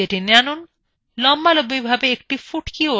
লম্বালম্বি ভাবে একটি ফুটকিওয়ালা রেখা দেখা যাচ্ছে